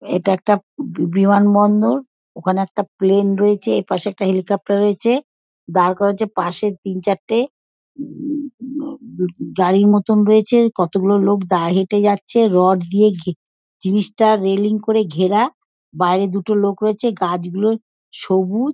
ইটা একটা বব বিমানবন্দর ওখানে একটি প্লেন রয়েছে এপাশে একটা হেলিকোপটার রয়েছে দাঁড় করা রয়েছে পাশের তিন চারটে মমম গাড়ির মতন রয়েছে কতগুলো লোক দা হেটে যাচ্ছে রড দিয়ে গগ জিনিস টা রেলিং করে ঘেরা বাইরে দুটো লোক রয়েছে গাছগুলো সবু--